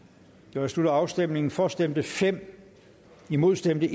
jeg slutter afstemningen for stemte fem imod stemte